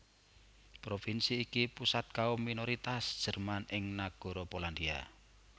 Provinsi iki pusat kaum minoritas Jerman ing Nagara Polandia